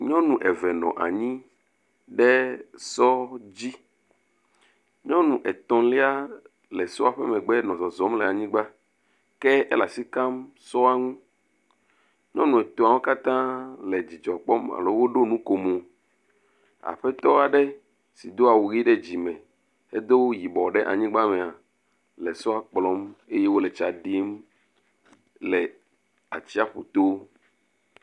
Nyɔnu eve nɔ anyi ɖe sɔ dzi, nyɔnu etɔ̃lia le sɔa ƒe megbe le zɔzɔm le anyigba. Ke ele asi kam sɔa ŋu. nyɔnu etɔ̃awo katã wole dzidzɔ kpɔm alo woɖo nukomo. Aƒetɔ aɖe do awu ɖe dzime, edo nu yibɔ le anyigba me hã le sɔa kplɔm eye wole tsa ɖim le atsiaƒu to.